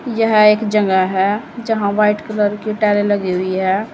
यह एक जगह है जहां व्हाइट कलर के टाइले लगी हुई है।